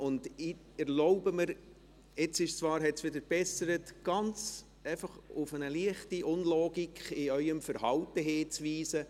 Ich erlaube mir, obwohl es jetzt wieder besser ist, auf eine leichte Unlogik in Ihrem Verhalten hinzuweisen.